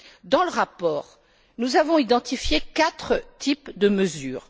Dans le rapport, nous avons identifié quatre types de mesures.